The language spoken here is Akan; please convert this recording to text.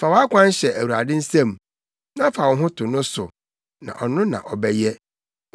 Fa wʼakwan hyɛ Awurade nsam; na fa wo ho to no so, na ɔno na ɔbɛyɛ: